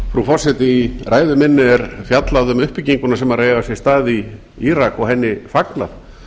frú forseti í ræðu minni er fjallað um uppbygginguna sem er að eiga sér stað í írak og henni fagnað